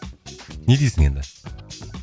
не дейсің енді